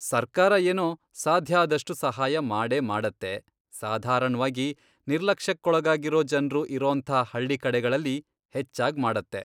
ಸರ್ಕಾರ ಏನೋ ಸಾಧ್ಯಾದಷ್ಟು ಸಹಾಯ ಮಾಡೇ ಮಾಡತ್ತೆ, ಸಾಧಾರಣ್ವಾಗಿ ನಿರ್ಲಕ್ಷ್ಯಕ್ಕೊಳಗಾಗಿರೋ ಜನ್ರು ಇರೋಂಥ ಹಳ್ಳಿ ಕಡೆಗಳಲ್ಲಿ ಹೆಚ್ಚಾಗ್ ಮಾಡತ್ತೆ.